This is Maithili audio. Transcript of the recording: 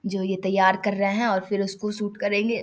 जो ये तैयार कर रहे हैं फिर उसको शूट करेंगे।